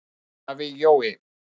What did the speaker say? Afi Jói.